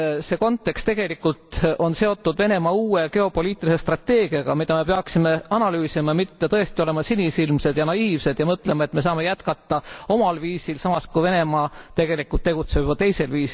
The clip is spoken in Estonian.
See kontekst on tegelikult seotud Venemaa uue geopoliitilise strateegiaga, mida me peaksime analüüsima, mitte tõesti olema sinisilmsed ja naiivsed ja mõtlema, et me saame jätkata omal viisil, samas kui Venemaa tegelikult tegutseb juba teisiti.